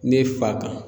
Ne fa kan